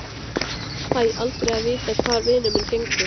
Fæ aldrei að vita hvar vinur minn gengur.